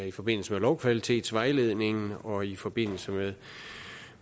i forbindelse med lovkvalitetsvejledningen og i forbindelse